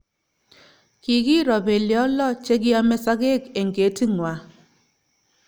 Kikiro beliot lok che kiame sokek eng keti ngwai